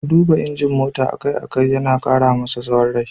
Duba injin mota a kai a kai yana ƙara masa tsawon rai.